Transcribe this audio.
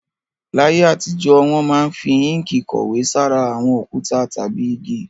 Láyé àtijọ́, wọ́n máa ń fi inki kọ̀wé sára àwọn òkúta tàbí igi